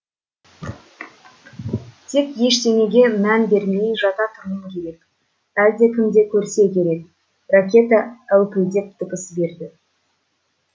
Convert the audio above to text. тек ештеңеге мән бермей жата тұруым керек әлдекімді көрсе керек ракета әупілдеп дыбыс берді